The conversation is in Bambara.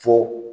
Fo